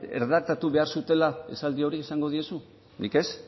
erredaktatu behar zutela esaldi hori esango diezu nik ez